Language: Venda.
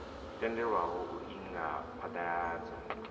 tendelwaho u inga u phaḓaladza